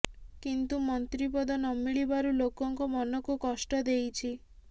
କିନ୍ତୁ ମନ୍ତ୍ରୀ ପଦ ନମିଳିବାରୁ ଲୋକଙ୍କ ମନକୁ କଷ୍ଟ ଦେଇଛି